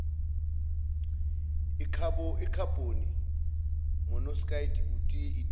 ikhabhoni monoksayidi itiyela